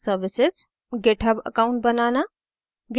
* github account banana